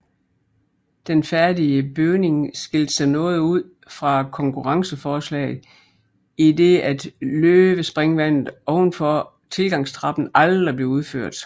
Den færdige bygning skilte sig noget ud fra konkurrenceforslaget i det at løvespringvandet ovenfor tilgangstrappen aldrig blev udført